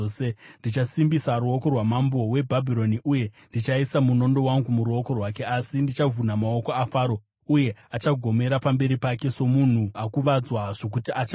Ndichasimbisa ruoko rwamambo weBhabhironi uye ndichaisa munondo wangu muruoko rwake, asi ndichavhuna maoko aFaro, uye achagomera pamberi pake somunhu akuvadzwa zvokuti achafa.